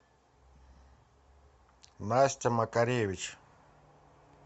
настя макаревич